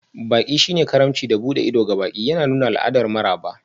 Baƙi shine karimci da buɗe ido ga baƙi, yana nuna al'adar maraba.